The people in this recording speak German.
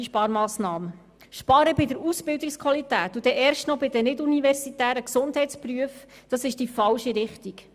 Wir gehen in die falsche Richtung, wenn wir bei der Ausbildungsqualität sparen, und dies erst noch bei den nicht-universitären Gesundheitsberufen.